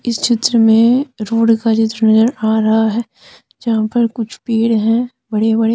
इस चित्र में रोड का चित्र नजर आ रहा है जहां पर कुछ पेड़ हैं बड़े बड़े--